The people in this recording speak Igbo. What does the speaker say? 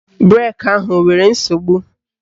Breki ahụ enwere nsogbu?